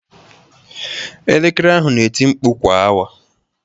Elekere ahụ na-eti mkpu kwa awa.